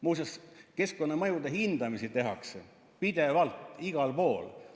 Muuseas, keskkonnamõjude hindamisi tehakse pidevalt igal pool.